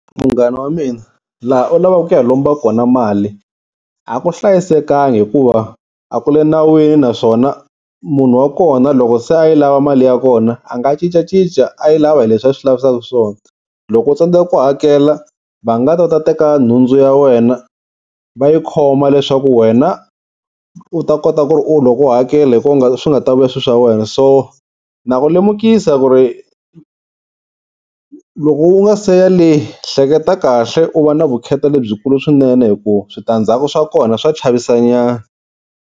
Munghana wa mina laha u lavaka ku ya lomba kona mali a ku hlayisekanga hikuva a ku le nawini, naswona munhu wa kona loko se a yi lava mali ya kona a nga cincacinca a yi lava hi leswi a swi lavisaka swona. Loko u tsandzeka ku hakela va nga ta va ta teka nhundzu ya wena va yi khoma leswaku wena u ta kota ku ri loko u hakela, hi kona swi nga ta vuya swilo swa wena. So na ku lemukisa ku ri loko u nga se ya le hleketa kahle u va na vukheta lebyikulu swinene hi ku switandzhaku swa kona swa chavisanyana.